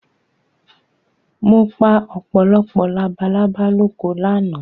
Mo pa ọ̀pọ̀lọpọ̀ labalábá lóko lánàá